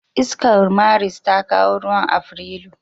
Iskar Maris ta kawo ruwan Afrilu.